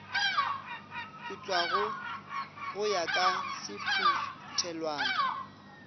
putswago go ya ka sephuthelwana